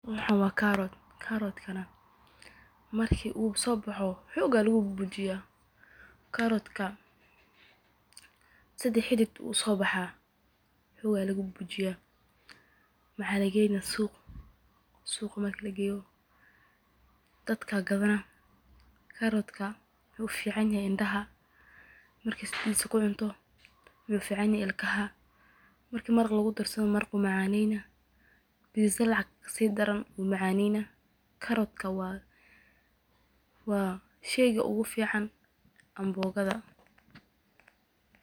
Waxaan waa karoot, marka uu soo baxo xoog ayaa lagu bujiyaa, sida xidid ayuu usoo baxaa, suuq ayaa lageeya, indaha ayuu ufican yahay, maraqa ayaa lagu darsadaa, waa sheeyga ugu fican qudaarta.